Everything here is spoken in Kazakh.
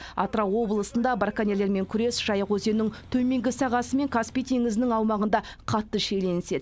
атырау облысында браконьерлермен күрес жайық өзенінің төменгі сағасы мен каспий теңізінің аумағында қатты шиеленіседі